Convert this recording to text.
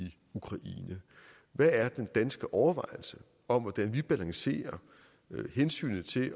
ukraine hvad er den danske overvejelse om hvordan vi balancerer hensynet til